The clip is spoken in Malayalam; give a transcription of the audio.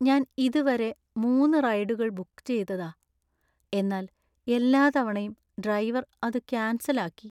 ഞാൻ ഇതുവരെ മൂന്ന് റൈഡുകൾ ബുക്ക് ചെയ്തതാ , എന്നാൽ എല്ലാ തവണയും ഡ്രൈവർ അത് ക്യാൻസൽ ആക്കി .